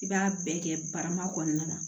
I b'a bɛɛ kɛ barama kɔnɔna na